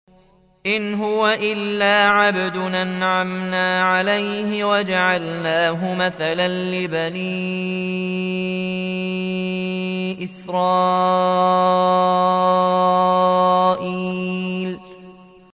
إِنْ هُوَ إِلَّا عَبْدٌ أَنْعَمْنَا عَلَيْهِ وَجَعَلْنَاهُ مَثَلًا لِّبَنِي إِسْرَائِيلَ